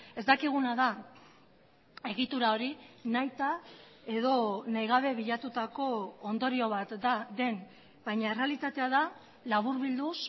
ez dakiguna da egitura hori nahita edo nahigabe bilatutako ondorio bat den baina errealitatea da laburbilduz